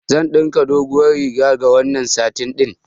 Zan ɗinka doguwar riga da wannan satin ɗin.